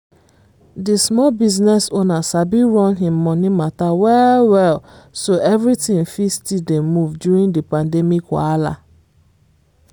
di small business owner sabi run him money matter well-well so everything fit still dey move during di pandemic wahala.